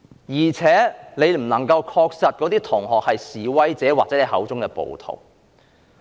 而且，他不能確定那些同學是否示威者或他口中的暴徒。